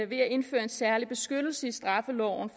ved at indføre en særlig beskyttelse i straffeloven